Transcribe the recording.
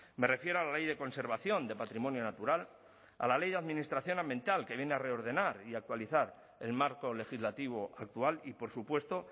me refiero a la ley de conservación de patrimonio natural a la ley de administración ambiental que viene a reordenar y actualizar el marco legislativo actual y por supuesto